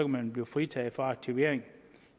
man blive fritaget fra aktivering